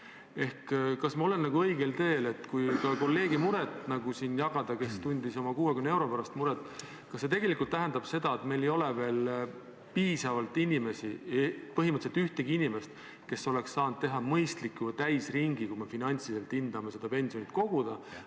Ehk kas ma olen õigel teel – kui jagada siin ka kolleegi muret oma 60 euro pärast –, et see tegelikult tähendab seda, et meil ei ole veel piisavalt inimesi, põhimõtteliselt pole meil ühtegi inimest, kes oleks saanud teha mõistliku täisringi – kui me seda finantsiliselt hindamine – pensioni kogumisel?